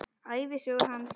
Ævisögu hans.